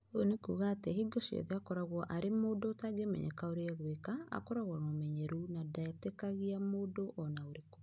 Ũguo nĩ kuuga atĩ, hingo ciothe, akoragwo arĩ mũndũ ũtangĩmenyeka ũrĩa egwĩka, akoragwo na ũmenyeru na ndetĩkagia mũndũ o na ũrĩkũ.